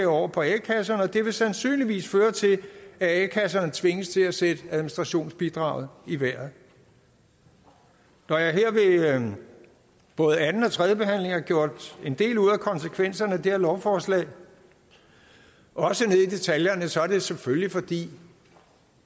over på a kasserne og det vil sandsynligvis føre til at a kasserne tvinges til at sætte administrationsbidraget i vejret når jeg ved både anden og tredjebehandlingen har gjort en del ud af konsekvenserne af det her lovforslag også ned i detaljerne så er det selvfølgelig fordi